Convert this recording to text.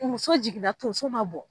Muso jiginna tonso ma bɔ